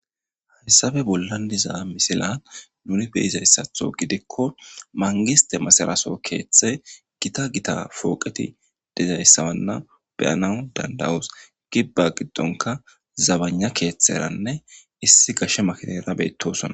hayssabe bollan diza misilan nuni beyizayssatho gidikko mangiste masaraso keeththe gita gita fooqeti dezayssawanna beyanan dandawoos gibba giddonka zabana keeththeranne issi gashshe makineera beettosonna